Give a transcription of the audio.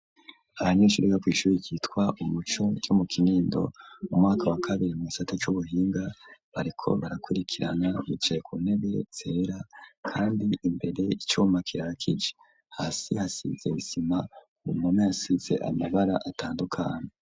Abanyeshure bakwishuri kitwa umuco yo mu kinindo u mwaka wa kabiri mu isate cy'ubuhinga bariko barakurikirana micaye ku ntebe sera kandi imbere icuma kirakigi hasi hasize isima umame asise amabara atandukana.